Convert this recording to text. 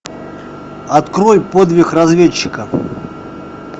открой подвиг разведчика